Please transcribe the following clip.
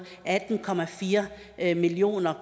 atten million